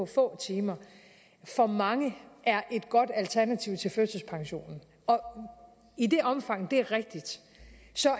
få timer for mange er et godt alternativ til førtidspension og i det omfang det er rigtigt